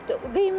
Fərqi yoxdur.